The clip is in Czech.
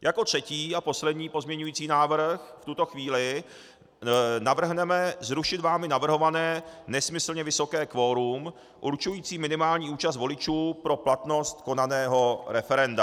Jako třetí a poslední pozměňovací návrh v tuto chvíli navrhneme zrušit vámi navrhované nesmyslně vysoké kvorum určující minimální účast voličů pro platnost konaného referenda.